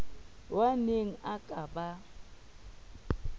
ao aneng a ka ba